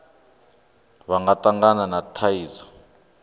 vha nga tangana na thaidzo